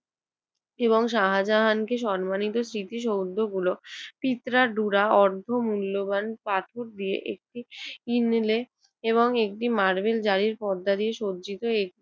এবং শাহজাহানকে সম্মানিত স্মৃতিসৌধগুলো পিপড়ার ডুরা অর্ধ মূল্যবান পাথর দিয়ে একটি ইনলে এবং একটি মার্বেল জারির পর্দা দিয়ে সজ্জিত